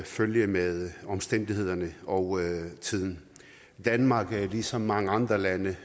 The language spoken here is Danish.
følge med omstændighederne og tiden danmark er ligesom mange andre lande